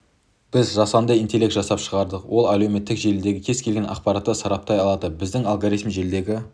біз жасанды интелект жасап шығардық ол әлеуметтік желідегі кез келген ақпаратты сараптай алады біздің алгоритм желдегі